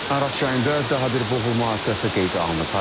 Araz çayında daha bir boğulma hadisəsi qeydə alınıb.